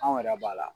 Anw yɛrɛ b'a la